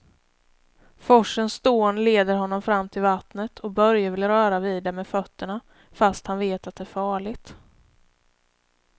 Forsens dån leder honom fram till vattnet och Börje vill röra vid det med fötterna, fast han vet att det är farligt.